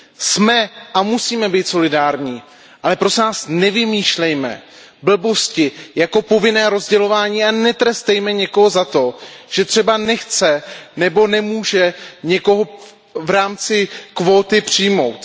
Jsme a musíme být solidární, ale prosím vás, nevymýšlejme hlouposti jako povinné rozdělování a netrestejme někoho za to, že třeba nechce nebo nemůže někoho v rámci kvóty přijmout.